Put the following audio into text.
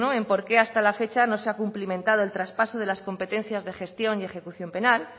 en por qué hasta la fecha no se ha cumplimentado el traspaso de las competencias de gestión en ejecución penal